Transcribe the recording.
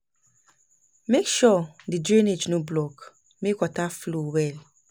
Make sure di drainage no block, make water flow well.